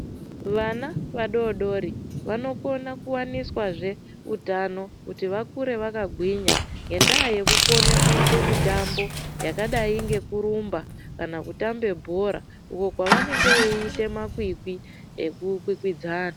Vana vadodori vanokona kuva niswazve utano kuti vakure vakagwinya. Ngendaa yekukone kuite mitambo yakadai ngekurumba kana kutamba bhora. Uko kwavanenge veiita makwikwi eku kwikwidzana.